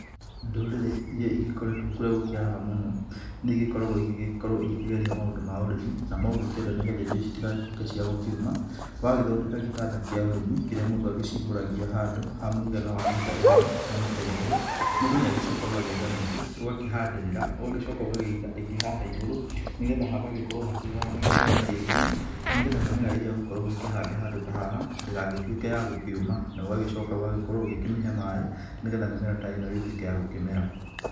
Ndũrĩrĩ iria igĩkoretwo kũrĩa gũkĩaraga mũno nĩ igĩkoragwo igĩgĩkĩgeria maũndũ ma ũrĩmi, namo ũngĩkĩenda nĩ getha indo ici itigagĩtuĩke ciagũkĩũma. Wagĩthondeka gĩtanda kĩa ũrĩmi kĩrĩa mũndũ agĩcimbũragia handũ ha mũigana wa mita ĩmwe na mita igĩrĩ. Mũndũ nĩ agĩcokaga ũgagietha mĩtĩ ũgakĩhandĩrĩra ũgacoka ũgakĩiga ĩngĩ hau igũrũ nĩ getha hagagĩkorwo hakĩhana ta hena kĩgunyĩ. Nĩ getha mĩmera ĩrĩa ũgũkorwo ũgĩkĩhanda handũ ta haha, ndĩgagĩtuĩke ya gũkĩuma. Na ũgacoka ũgagĩkorwo ũgĩkĩmĩhe maaĩ nĩ getha mĩmera ta ĩno ĩgĩtuĩke ya gũkĩmera.